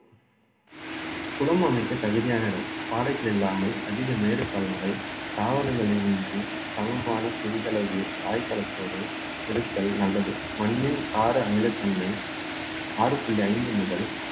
குளம் அமைக்க தகுதியான இடம் பாறைகள் இல்லாமல் அதிக மேடு பள்ளங்கள் தாவரங்கள் இன்றி சமமான சிறிதளவு தாய்த்தலத்தோடு இருத்தல் நல்லது மண்ணின் கார அமிலத்தன்மை ஆறு புள்ளி ஐந்து முதல்